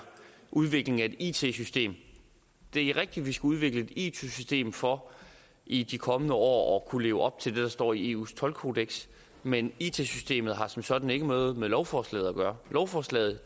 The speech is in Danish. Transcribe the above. udviklingen af et it system det er rigtigt at vi skal udvikle et it system for i de kommende år kunne leve op til det der står i eus toldkodeks men it systemet har som sådan ikke noget med lovforslaget at gøre lovforslaget